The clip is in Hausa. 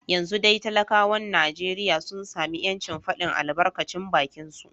Yanzu dai talakawan Najeriya sun sami ‘yancin fadin albarkacin bakinsu